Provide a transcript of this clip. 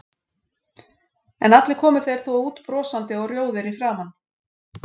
En allir komu þeir þó út brosandi og rjóðir í framan.